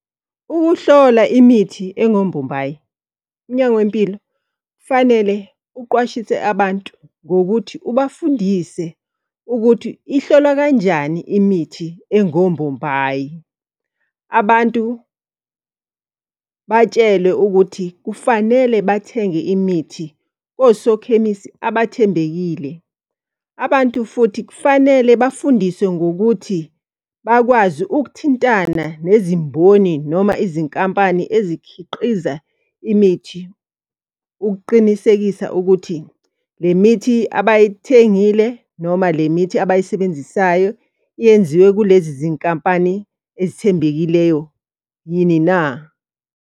Ukuhlola imithi engombombayi, umnyango wempilo kufanele uqwashise abantu ngokuthi ubafundise ukuthi ihlolwa kanjani imithi engombombayi. Abantu batshelwe ukuthi kufanele bathenge imithi kosokhemisi abathembekile. Abantu futhi kufanele bafundiswe ngokuthi bakwazi ukuthintana nezimboni noma izinkampani ezikhiqiza imithi. Ukuqinisekisa ukuthi le mithi abayithengile noma le mithi abayisebenzisayo yenziwe kulezi zinkampani ezithembekileyo yini na.